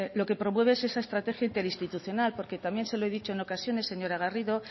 lo que promueve es esa estrategia interinstitucional porque también se lo he dicho en ocasiones señora garrido